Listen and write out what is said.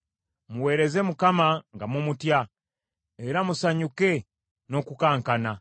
Muweereze Mukama nga mumutya, era musanyuke n’okukankana.